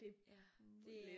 Det lidt